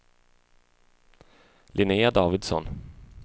Linnea Davidsson